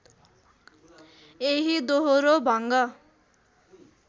यही दोहोरो भङ्ग